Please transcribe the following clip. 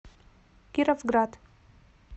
кировград